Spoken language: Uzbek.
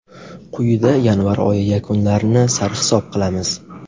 Quyida yanvar oyi yakunlarini sarhisob qilamiz.